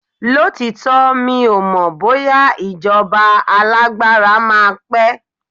lotitọ, mi o mọ bóyá ijoba alagbara ma pe